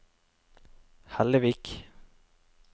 Hellevik